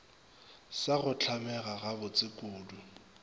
sa go hlamega gabotse kudu